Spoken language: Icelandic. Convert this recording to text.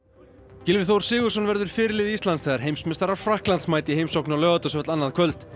Gylfi Þór Sigurðsson verður fyrirliði Íslands þegar heimsmeistarar Frakklands mæta í heimsókn á Laugardalsvöll annað kvöld